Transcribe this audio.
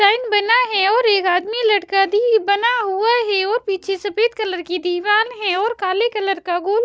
sign बना है और एक आदमी लड़का भी बना हुआ है वो पीछे सफेद कलर की दीवाल है और काले कलर का गुण --